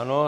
Ano.